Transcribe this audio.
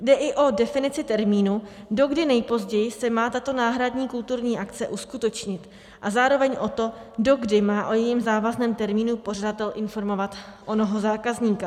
Jde i o definici termínu, dokdy nejpozději se má tato náhradní kulturní akce uskutečnit, a zároveň o to, dokdy má o jejím závazném termínu pořadatel informovat onoho zákazníka.